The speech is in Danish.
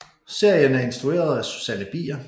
Serien er instrueret af Susanne Bier